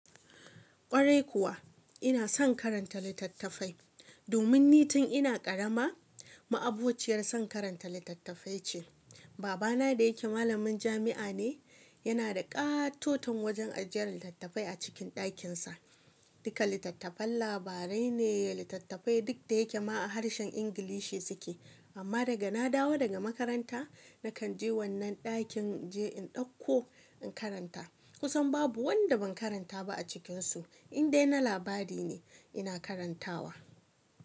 Kwarai kuwa ina son karanta littattafai domin ni tun ina karama. Ma'abuciyar son karanta littattafai ce. Baba na da yake malamin jami'a ne, yana da katoton wajen ajiyar littattafai a cikin dakin sa. Duka littattafan labarai ne. Littattafai duk da yake ma harshen Ingilishi su ke. Amma daga na dawo daga makaranta, na kan je wannan dakin je in dauko in karanta. Kusan babu wanda ban karanta ba a cikinsu. In dai na labari ne ina karantawa.